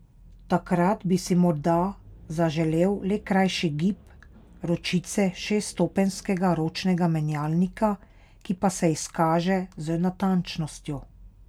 Takrat bi si morda zaželel le krajši gib ročice šeststopenjskega ročnega menjalnika, ki pa se izkaže z natančnostjo.